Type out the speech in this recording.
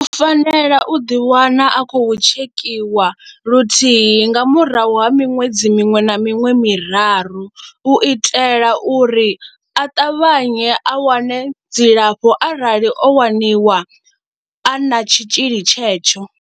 U fanela u ḓiwana a khou tshekhiwa luthihi nga murahu ha miṅwedzi miṅwe na miṅwe miraru u itela uri a ṱavhanye a wane dzilafho arali o waniwa a na tshitzhili tshetsho.